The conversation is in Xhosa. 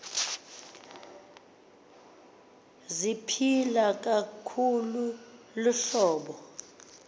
ziphila kakhulu luhlobo